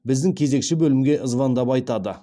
біздің кезекші бөлімге звондап айтады